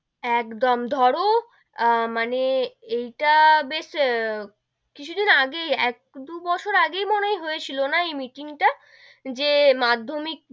একদম ধরো, মানে এইটা বেশ কিছু দিন আগেই, এক দু বছর আগেই মনে হয় হয়েছিল না এই meeting টা, যে মাধ্যমিক,